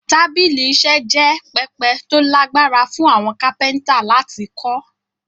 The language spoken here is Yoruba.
Tábìlì iṣẹ́ jẹ́ pẹpẹ tó lágbára fún àwọn kápẹ́ntà láti kọ́